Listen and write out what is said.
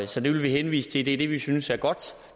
så det vil vi henvise til det er det vi synes er godt